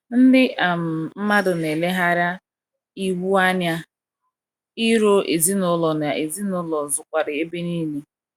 Ndị um mmadụ na eleghara iwu anya, iro ezinụlọ na ezinụlọ zukwara ebe nile.